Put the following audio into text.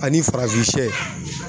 Ani farafin sɛ